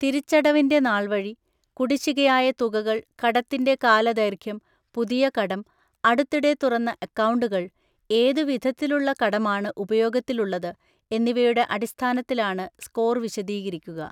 തിരിച്ചടവിന്‍റെ നാള്‍വഴി, കുടിശ്ശികയായ തുകകൾ, കടത്തിന്‍റെ കാലദൈര്‍ഘ്യം, പുതിയ കടം, അടുത്തിടെ തുറന്ന അക്കൗണ്ടുകൾ, ഏതു വിധത്തിലുള്ള കടമാണ് ഉപയോഗത്തിലുള്ളത്, എന്നിവയുടെ അടിസ്ഥാനത്തിലാണ് സ്കോർ വിശദീകരിക്കുക.